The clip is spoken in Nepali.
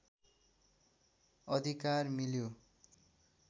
अधिकार मिल्यो